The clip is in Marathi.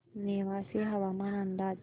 नेवासे हवामान अंदाज